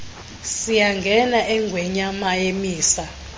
siyangena engwemnyama misa